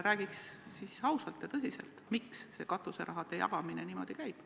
Räägiks parem ausalt ja tõsiselt, miks see katuseraha jagamine niimoodi käib.